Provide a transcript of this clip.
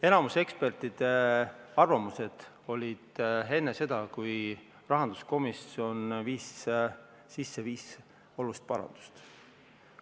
Enamik ekspertide arvamusi olid avaldatud enne seda, kui rahanduskomisjon viis sisse viis olulist parandust.